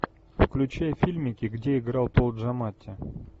включай фильмики где играл пол джаматти